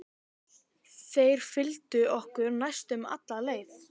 Þeir fylgdu okkur næstum alla leið.